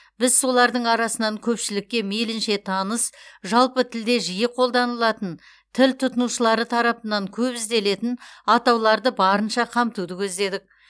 біз солардың арасынан көпшілікке мейлінше таныс жалпы тілде жиі қолданылатын тіл тұтынушылары тарапынан көп ізделетін атауларды барынша қамтуды көздедік